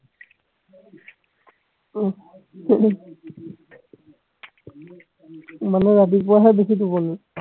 আহ মানে ৰাতিপুৱাহে বেছি টোপনী